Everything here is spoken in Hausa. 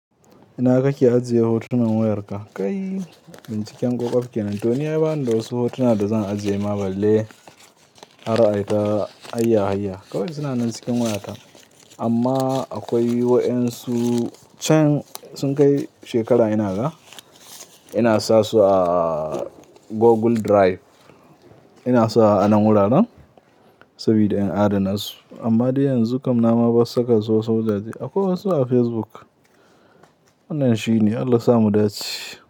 Ina kake ajiye hotunan wayarka? Kai, binciken ƙoƙwaɓ kenan. To ni ai bani da wasu hotuna da zan ajiye ma balle har aita hayya hayya. Kawai suna nan cikin wayata amma akwai wa'yansu can sun kai shekara ina ga. Ina sa su a Google Drive. Ina sa a nan wuraren sabida in adana su. Amma dai yanzu kam na ma bas saka su wasu wajaje. Akwai wasu a Facebook. Wannan shine. Allah sa mu dace.